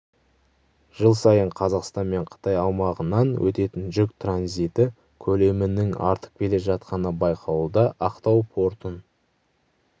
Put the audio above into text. жыл сайын қазақстан мен қытай аумағынан өтетін жүк транзиті көлемінің артып келе жатқаны байқалуда ақтау портын